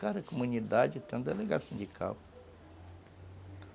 Cada comunidade tem um delegado sindical.